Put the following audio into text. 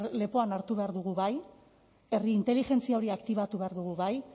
lepoan hartu behar dugu bai herrik inteligentzia hori aktibatu behar dugu bai